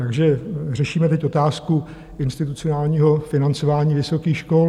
Takže řešíme teď otázku institucionálního financování vysokých škol.